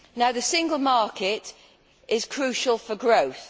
The single market is crucial for growth.